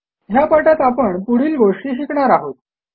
ह्या पाठात आपण पुढील गोष्टी शिकणार आहोत